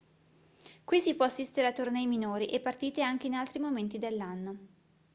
qui si può assistere a tornei minori e partite anche in altri momenti dell'anno